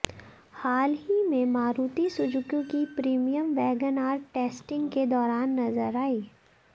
हाल ही में मारुति सुजुकी की प्रीमियम वैगनआर टेस्टिंग के दौरान नजर आई